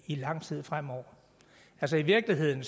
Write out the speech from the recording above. i lang tid fremover altså i virkeligheden